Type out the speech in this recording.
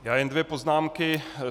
Já jen dvě poznámky.